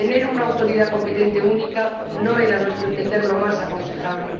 Tener una autoridad competente única no era, a nuestro entender, lo más aconsejable.